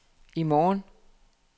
i morgen